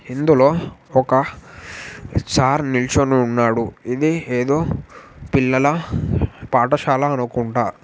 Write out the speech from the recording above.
ఇందులో ఒక సార్ నిల్చొని ఉన్నాడు. ఇది ఏదో పిల్లల పాటశాల అనుకుంట.